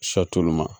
tulu ma